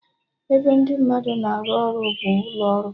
Ebe ndị mmadụ na-arụ ọrụ bụ ụlọ ọrụ